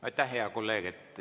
Aitäh, hea kolleeg!